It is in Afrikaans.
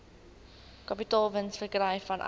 kapitaalwins verkry vanuit